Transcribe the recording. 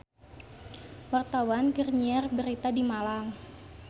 Wartawan keur nyiar berita di Malang